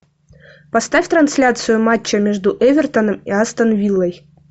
поставь трансляцию матча между эвертоном и астон виллой